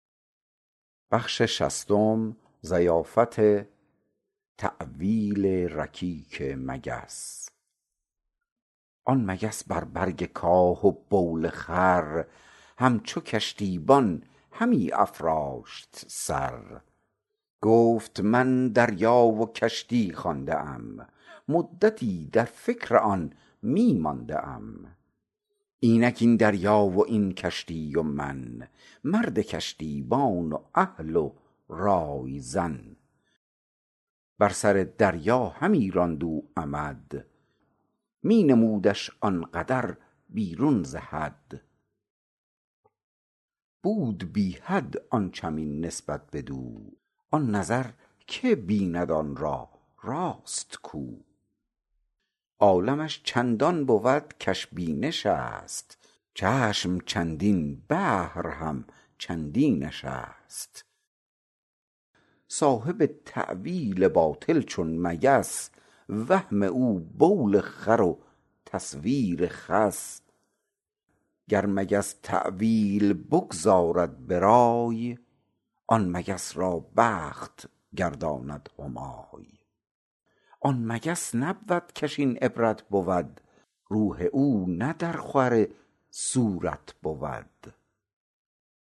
آن مگس بر برگ کاه و بول خر همچو کشتیبان همی افراشت سر گفت من دریا و کشتی خوانده ام مدتی در فکر آن می مانده ام اینک این دریا و این کشتی و من مرد کشتیبان و اهل و رای زن بر سر دریا همی راند او عمد می نمودش آن قدر بیرون ز حد بود بی حد آن چمین نسبت بدو آن نظر که بیند آن را راست کو عالمش چندان بود کش بینشست چشم چندین بحر همچندینشست صاحب تاویل باطل چون مگس وهم او بول خر و تصویر خس گر مگس تاویل بگذارد برای آن مگس را بخت گرداند همای آن مگس نبود کش این عبرت بود روح او نه در خور صورت بود